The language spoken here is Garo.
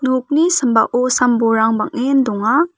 nokni sambao sam-bolrang bang·en donga.